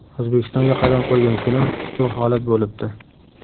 O‘zbekistonga qadam qo‘ygan kunim shu holat bo‘libdi.